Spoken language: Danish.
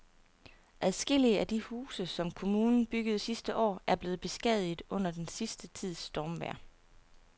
Adskillige af de huse, som kommunen byggede sidste år, er blevet beskadiget under den sidste tids stormvejr.